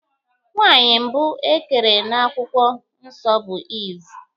Nwaanyị mbụ ekere n'akwụkwọ nsọ bụ Eve.